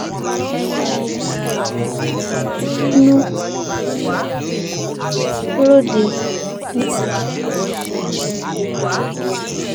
ẹni um tó rínú ròde níléeṣẹ náà lórí ètò ààbò